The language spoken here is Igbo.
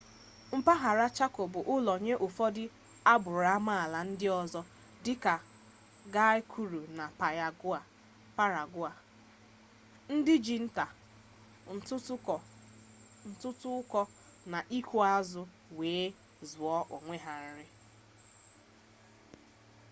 mpaghara chako bụ ụlọ nye ụfọdụ agbụrụ amaala ndị ọzọ dịka guaykuru na payagua ndị ji nta ntụtụkọ na ịkụ azụ wee zụọ onwe ha nri